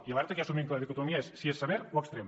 i alerta que ja assumim que la dicotomia és si és sever o extrem